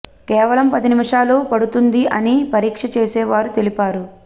కేవలం పది నిమిషాలు పడుతుంది అని పరీక్ష చేసే వారు తెలిపారు